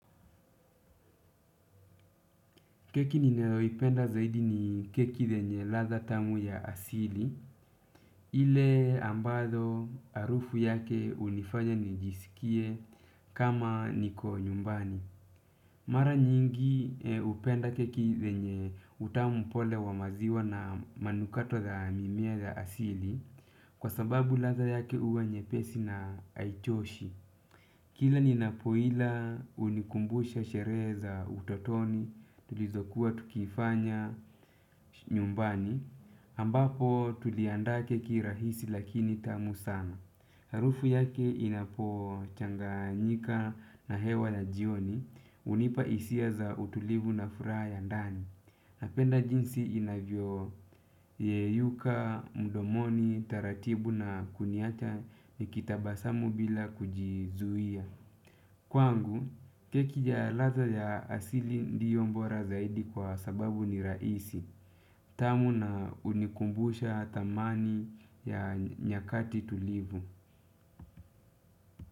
Keki nimewahi penda zaidi ni keki zenye ladha tamu ya asili. Ile ambalo harufu yake hunifanya nijisikie kama niko nyumbani. Mara nyingi hupenda keki lenye utamu pole wa maziwa na manukato za mimea ya asili. Kwa sababu ladha yake huwa nyepesi na haichoshi. Kila ninapo ila hunikumbusha sherehe za utotoni tulizokuwa tukifanya nyumbani ambapo tuliandaa keki rahisi lakini tamu sana. Harufu yake inapo changanyika na hewa ya jioni hunipa hisia za utulivu na furaha ya ndani. Napenda jinsi inavyo yeyuka, mdomoni, taratibu na kuniacha nikitabasamu bila kujizuia. Kwangu, keki ya ladha ya asili ndiyo bora zaidi kwa sababu ni rahisi, tamu na hunikumbusha thamani ya nyakati tulivu.